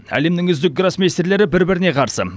әлемнің үздік гроссмейстерлері бір біріне қарсы